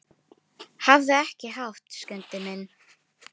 Hafðu ekki hátt, Skundi minn.